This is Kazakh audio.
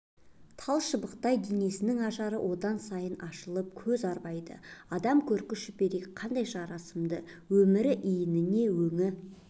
талшыбықтай денесінің ажарын одан сайын ашып көз арбайды адам көрк шүберек қандай жарасымды өмірі иініне өңі